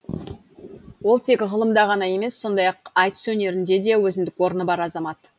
ол тек ғылымда ғана емес сондай ақ айтыс өнерінде де өзіндік орны бар азамат